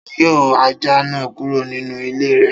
Ta ni yọ ajá náà kúrò nínú ilé rẹ̀?